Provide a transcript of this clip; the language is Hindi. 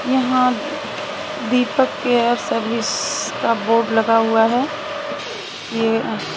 यहाँ दीपक केयर सर्विस स का बोर्ड लगा हुआ हैं ये--